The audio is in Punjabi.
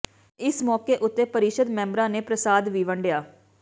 ਇਸ ਮੌਕੇ ਉੱਤੇ ਪਰਿਸ਼ਦ ਮੈਬਰਾਂ ਨੇ ਪ੍ਰਸਾਦ ਵੀ ਵੰਡਿਆ